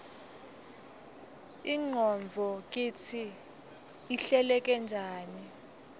ingqondvo kitsi ihleleke njani